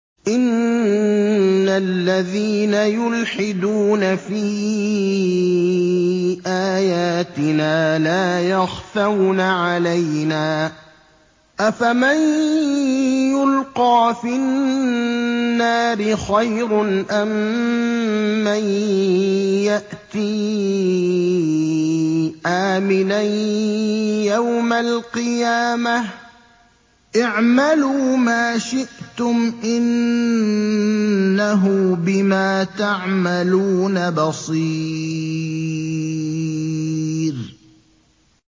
إِنَّ الَّذِينَ يُلْحِدُونَ فِي آيَاتِنَا لَا يَخْفَوْنَ عَلَيْنَا ۗ أَفَمَن يُلْقَىٰ فِي النَّارِ خَيْرٌ أَم مَّن يَأْتِي آمِنًا يَوْمَ الْقِيَامَةِ ۚ اعْمَلُوا مَا شِئْتُمْ ۖ إِنَّهُ بِمَا تَعْمَلُونَ بَصِيرٌ